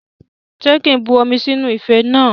Ṣé kí n bu omi sínú ife náà?